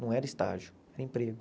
Não era estágio, era emprego.